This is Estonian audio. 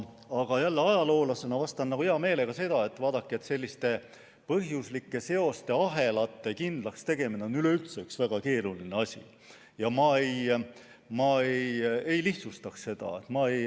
Aga ajaloolasena vastan hea meelega nii, et selliste põhjuslike seoste ahelate kindlakstegemine on üleüldse väga keeruline asi ja ma ei lihtsustaks seda.